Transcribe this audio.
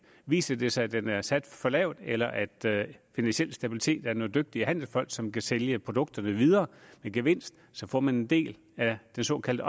viser det sig at den er sat for lavt eller at finansiel stabilitet er nogle dygtige handelsfolk som kan sælge produkterne videre med gevinst så får man en del af den såkaldte